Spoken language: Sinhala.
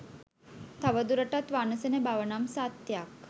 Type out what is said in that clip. තව දුරටත් වනසන බවනම් සත්‍යයක්